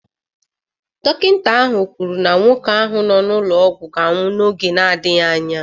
Dọkịta ahụ kwuru na nwoke ahụ nọ n'ụlọ ọgwụ ga-anwụ n'oge na-adịghị anya